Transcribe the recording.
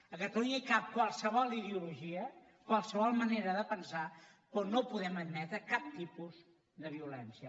a catalunya hi cap qualsevol ideologia qualsevol manera de pensar però no podem admetre cap tipus de violència